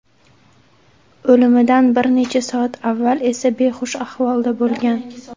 O‘limidan bir necha soat avval esa behush ahvolda bo‘lgan.